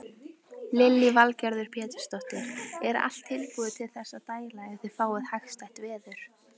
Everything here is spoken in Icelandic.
Lillý Valgerður Pétursdóttir: Er allt tilbúið til þess að dæla ef þið fáið hagstætt veður?